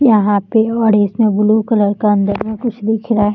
यहाँ पे और इसमें ब्लू कलर का अंदर में कुछ दिख रहा है।